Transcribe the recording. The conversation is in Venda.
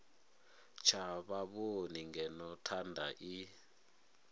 tsha vhavhoni ngeno thanda i